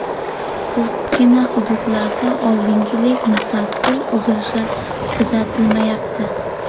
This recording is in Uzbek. Ko‘pgina hududlarda oldingidek muttasil uzilishlar kuzatilmayapti.